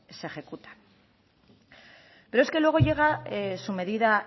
se ejecutan pero es que luego llega su medida